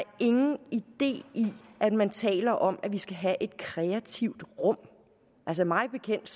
ingen idé i at man taler om at vi skal have et kreativt rum altså mig bekendt